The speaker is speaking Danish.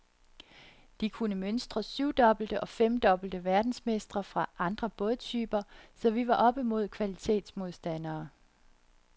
De kunne mønstre syvdobbelte og femdobbelte verdensmestre fra andre bådtyper, så vi var oppe mod kvalitetsmodstandere.